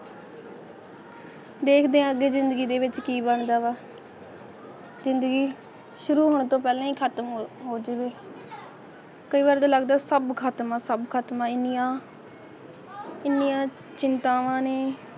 ਦੇਖਦੇ ਆ ਗਏ ਜਿੰਦਗੀ ਦੇ ਵਿੱਚ ਕੀ ਕੀ ਬਣਦਾ ਹੈ ਜ਼ਿੰਦਗੀ ਸ਼ੁਰੂ ਹੋਣ ਤੋਂ ਪਹਿਲਾਂ ਹੀ ਖ਼ਤਮ ਹੋ ਜਾਣਗੇ ਕਈ ਗ਼ਲਤ ਲੱਗਦਾ ਕੰਮ ਖਤਮ ਸਭ ਖਤਮ ਹੋ ਗਿਆ ਇੰਨੀਆਂ ਇੰਨੀਆਂ ਚਿੰਤਵਾਣਾ ਨੇ